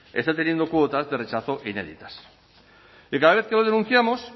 está teniendo cuotas de rechazo inéditas y cada vez que lo denunciamos